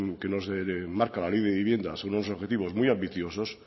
que nos marca la ley de vivienda son unos objetivos muy ambiciosos